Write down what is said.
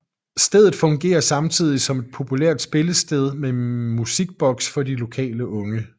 Stedet fungerer samtidig som et populært spillested med musikbox for de lokale unge